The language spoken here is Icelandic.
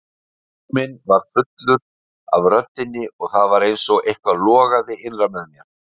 Hugur minn var fullur af röddinni og það var einsog eitthvað logaði innra með mér.